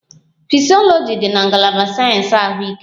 Fisyọlọji dị na ngalaba sayensị ahụike